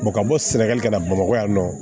ka bɔ sɛnɛgali ka na bamakɔ yan nɔ